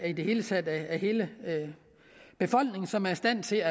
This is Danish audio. i det hele taget hele befolkningen som er i stand til